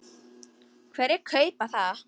Hverjir kaupa það?